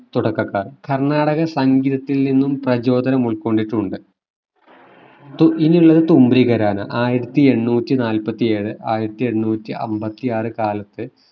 തുടക്കക്കാർ കർണാടക സംഗീതത്തിൽ നിന്നും പ്രചോദനം ഉൾക്കൊണ്ടിട്ടുണ്ട് തു ഇനിയുള്ളത് തുമ്പി ഖരാന ആയിരത്തി എണ്ണൂറ്റി നാല്പത്തിയേഴു ആയിരത്തി എണ്ണൂറ്റി അമ്പത്തി ആറു കാലത്തു